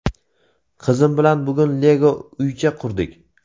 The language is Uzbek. Qizim bilan bugun Lego uycha qurdik.